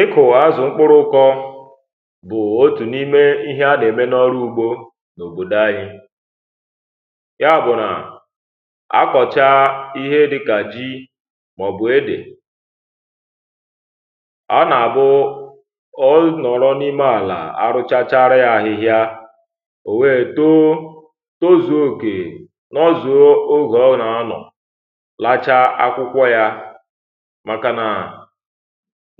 ịkụ̀ azụ̀ mkpụrụ̇kọ bụ̀ otù n’ime ihẹ a na-eme n’ọrụ ugbȯ n’òbòdò anyi̇ ya bụ̀ nà akọ̀cha ihe dịkà ji mà ọ̀ bụ̀ edè a nà-àbụ ọ nọrọ n’ime àlà arụchachara yȧ ahịhịa ò wee too too zuòokè n’ọzù ogè ọgọ̀nàanọ̀ lacha akwụkwọ yȧ